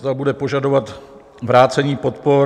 Zda bude požadovat vrácení podpor?